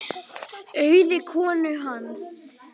Auði konu hans.